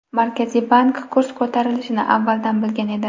Markaziy bank kurs ko‘tarilishini avvaldan bilgan edi.